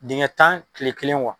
Dingɛ tan kile kelen